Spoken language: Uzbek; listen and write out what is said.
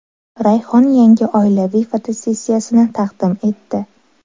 Rayhon yangi oilaviy fotosessiyasini taqdim etdi.